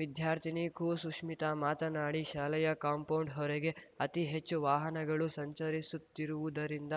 ವಿದ್ಯಾರ್ಥಿನಿ ಕುಸುಷ್ಮಿತ ಮಾತನಾಡಿ ಶಾಲೆಯ ಕಾಂಪೌಂಡ್‌ ಹೊರಗೆ ಅತಿ ಹೆಚ್ಚು ವಾಹನಗಳು ಸಂಚರಿಸುತ್ತಿರುವುದರಿಂದ